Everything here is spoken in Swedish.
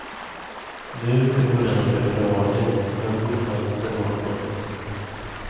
Nu, i början av februari, har jag fortfarande inte hört något.